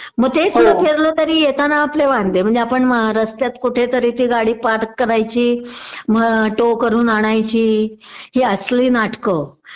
मग तेच जर फिरलो तर येताना आपले वांदे म्हणजे आपण रस्त्यात कुठेतरी ती गाडी पार्क करायची मग टो करून आणायची हि असली नाटक